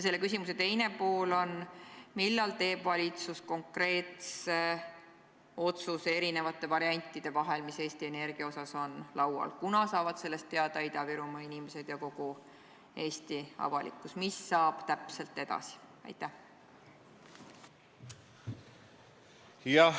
Selle küsimuse teine pool: millal teeb valitsus konkreetse otsuse eri variantide vahel, mis Eesti Energia kohta on laual, kunas saavad sellest teada Ida-Virumaa inimesed ja kogu Eesti avalikkus ning mis täpselt edasi saab?